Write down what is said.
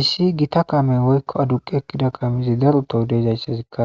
issi gita kamen woykko aduqi ekkida kamizi daru to deezayssazikka